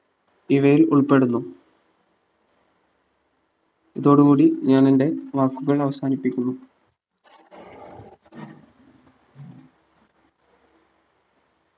ഇവയിൽ ഉൾപ്പെടുന്നു ഇതോടു കൂടി ഞാൻ എന്റെ വാക്കുകൾ അവസാനിപ്പിക്കുന്നു